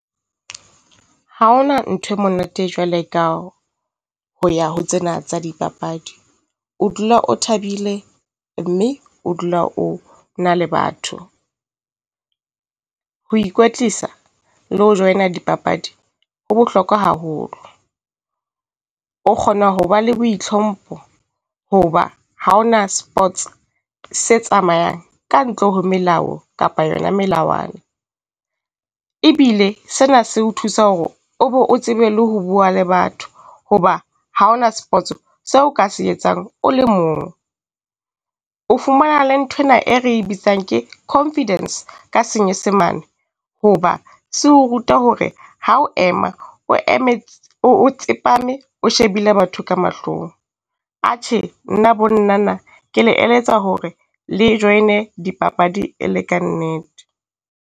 Ha ho na ntho e monate jwale ka ho ya ho tsena tsa dipapadi, o dula o thabile, mme o dula o na le batho. Ho ikwetlisa le ho join-a dipapadi ho bohlokwa haholo. O kgona ho ba le boitlhompho hoba ha ho na sports se tsamayang ka ntle ho melao kapa yona melawana. Ebile sena se o thusa hore o be o tsebe le ho bua le batho, hoba ha o na spots-o seo ka se etsang o le mong. O fumana le nthwena e re bitsang ke confidence ka senyesemane, hoba se ho ruta hore ha o ema o eme o tsepame, o shebile batho ka mahlong. Atjhe nna bo Nnana ke le eletsa hore le join-e dipapadi e le kannete.